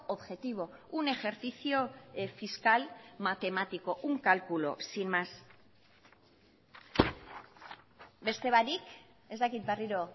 objetivo un ejercicio fiscal matemático un cálculo sin más beste barik ez dakit berriro